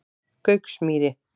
Gauksmýri